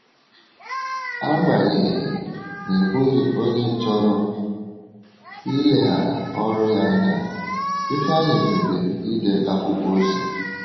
Agbanyeghị, n’ịbụghị onye chọrọ ileghara ọrụ ya anya, Ifeanyi kpebiri ide akwụkwọ ozi.